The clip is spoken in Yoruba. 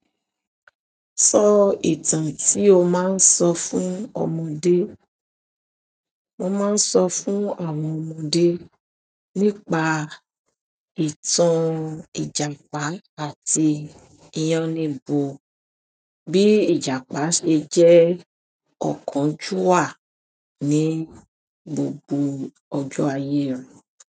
Sọ ìtàn tí o máa ń sọ fún ọmọdé. Mo máa ń sọ fún àwọn ọmọdé nípa ìtàn Ìjàpá àti yánníbo, bí Ìjàpá ṣe jẹ́ ọ̀kànjúà ní gbogbo ọjọ́ ayé rẹ̀.